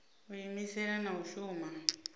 u iimisela na u shuma